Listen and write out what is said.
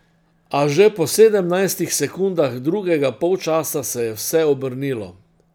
A že po sedemnajstih sekundah drugega polčasa se je vse obrnilo.